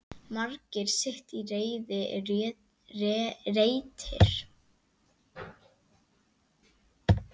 Margur sitt í reiði reitir.